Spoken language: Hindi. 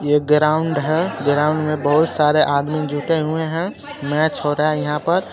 एक ग्राउंड है ग्राउंड में बहोत सारे आदमी जुटे हुए है मैच हो रहा है यहाँ पर.